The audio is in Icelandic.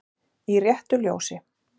Í RÉTTU LJÓSI